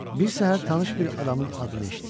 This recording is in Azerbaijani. Bir səhər tanış bir adamın adını eşitdim.